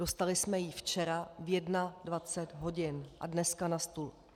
Dostali jsme ji včera ve 21 hodin a dneska na stůl.